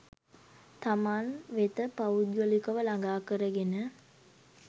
තමන් වෙත පෞද්ගලිකව ළඟා කර ගෙන